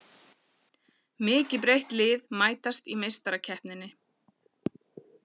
Mikið breytt lið mætast í Meistarakeppninni